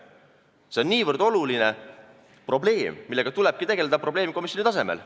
See on niivõrd oluline probleem, millega tulebki tegelda probleemkomisjoni tasemel.